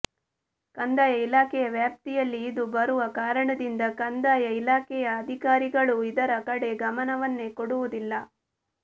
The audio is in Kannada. ಕಂದಾಯ ಇಲಾಖೆಯ ವ್ಯಾಪ್ತಿಯಲ್ಲಿ ಇದು ಬರುವ ಕಾರಣದಿಂದ ಕಂದಾಯ ಇಲಾಖೆಯ ಅಧಿಕಾರಿಗಳು ಇದರ ಕಡೆ ಗಮನವನ್ನೇ ಕೊಡುವುದಿಲ್ಲ